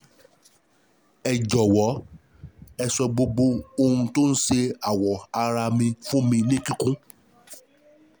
Ẹ jọ̀wọ́, ẹ sọ gbogbo ohun tó ń ṣe àwọ̀ ara mi fún mi ní kíkún